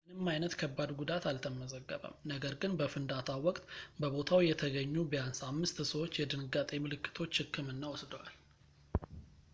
ምንም ዓይነት ከባድ ጉዳት አልተመዘገበም ነገር ግን በፍንዳታው ወቅት በቦታው የተገኙ ቢያንስ አምስት ሰዎች የድንጋጤ ምልክቶች ሕክምና ወስደዋል